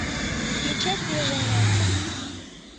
включай свежее мясо